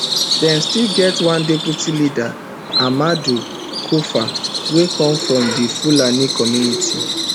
dem still get one deputy leader amadou koufa wey come from di fulani community